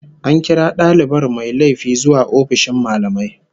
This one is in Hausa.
An kira dalibar mai laifi zuwa ofishin mallamai